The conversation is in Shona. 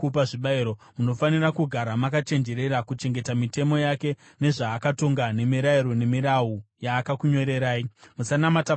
Munofanira kugara makachenjerera kuchengeta mitemo yake nezvaakatonga, nemirayiro, nemirau yaakakunyorerai. Musanamata vamwe vamwari.